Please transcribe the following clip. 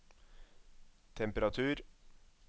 temperatur